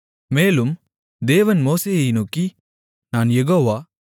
மேலும் தேவன் மோசேயை நோக்கி நான் யேகோவா